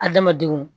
Adamadenw